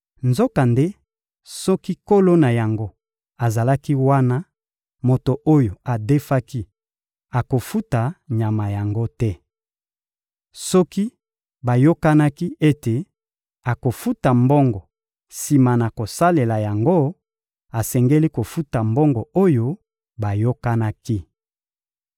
Nzokande soki nkolo na yango azalaki wana, moto oyo adefaki akofuta nyama yango te. Soki bayokanaki ete akofuta mbongo sima na kosalela yango, asengeli kofuta mbongo oyo bayokanaki.